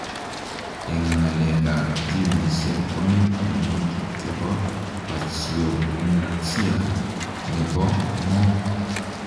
Eng ngaleek ap ginisiek komii tiemutik chepo pachyonychia nepoo moo?